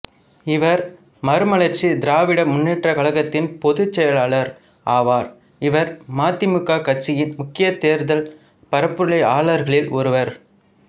இவர் மறுமலர்ச்சி திராவிட முன்னேற்றக் கழகத்தின் பொதுச்செயலாளார் ஆவார் இவர் மதிமுக கட்சியின் முக்கியத் தேர்தல் பரப்புரையாளர்களில் ஒருவர்